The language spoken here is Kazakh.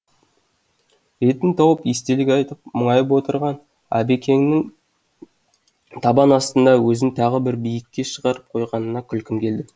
ретін тауып естелік айтып мұңайып отырған әбекеңнің табан астында өзін тағы бір биікке шығарып қойғанына күлкім келді